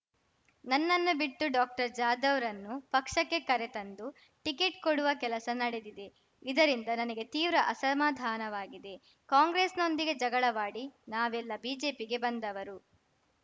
ನನ್ನನ್ನು ಬಿಟ್ಟು ಡಾಕ್ಟರ್ಜಾಧವ್‌ರನ್ನು ಪಕ್ಷಕ್ಕೆ ಕರೆತಂದು ಟಿಕೆಟ್‌ ಕೊಡುವ ಕೆಲಸ ನಡೆದಿದೆ ಇದರಿಂದ ನನಗೆ ತೀವ್ರ ಅಸಮಾಧಾನವಾಗಿದೆ ಕಾಂಗ್ರೆಸ್‌ನೊಂದಿಗೆ ಜಗಳವಾಡಿ ನಾವೆಲ್ಲ ಬಿಜೆಪಿಗೆ ಬಂದವರು